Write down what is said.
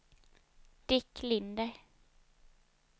Dick Linder